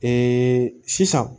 sisan